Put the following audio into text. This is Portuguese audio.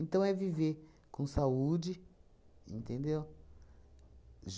é viver com saúde, entendeu?